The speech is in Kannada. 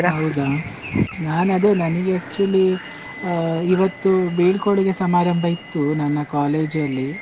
ನಾನು ಅದೇ ನನಿಗೆ actually ಆ ಇವತ್ತು ಬೀಳ್ಕೊಡುಗೆ ಸಮಾರಂಭ ಇತ್ತು, ನನ್ನ college ಅಲ್ಲಿ.